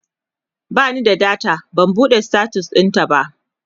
bani da data ban buɗe status ɗintaba